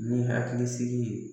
Ni hakili sigi ye